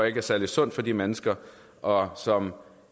ikke er særlig sundt for de mennesker og som